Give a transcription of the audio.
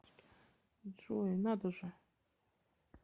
джой надо же